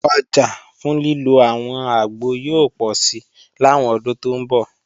Ọjà fún lílo àwọn àgbo yóò pọ̀si làwọn ọdún tó ń bọ̀